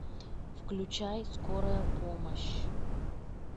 включай скорая помощь